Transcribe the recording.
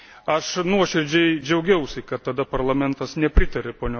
Aš nuoširdžiai džiaugiausi, kad tada Parlamentas nepritarė p.